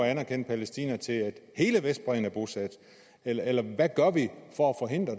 at anerkende palæstina indtil hele vestbredden er bosat eller eller hvad gør vi for